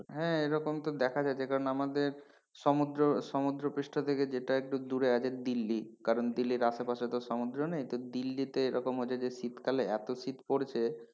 হ্যাঁ এরকম তো দেখা যায় যে কারণে আমাদের সমুদ্র সমুদ্রপৃষ্ঠ থেকে যেটা একটু দূরে আছে দিল্লি কারণ দিল্লির আশেপাশে তো সমুদ্র নেই তো দিল্লিতে এরকম যদি শীতকালে এত শীত পড়ছে,